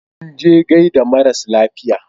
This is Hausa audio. Sun je gaida maras lafiya.